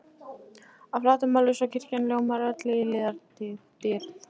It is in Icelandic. að flatarmáli, svo kirkjan ljómar öll í litadýrð.